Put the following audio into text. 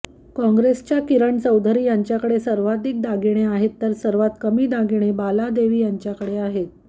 काँग्रेसच्या किरण चौधरींकडे सर्वाधिक दागिने आहेत तर सर्वांत कमी दागिने बालादेवी यांच्याकडे आहेत